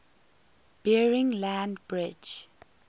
bering land bridge